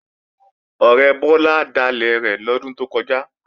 Ọ̀rẹ́ Bọ́lá dalẹ̀ rẹ̀ lọ́dún tó kọjá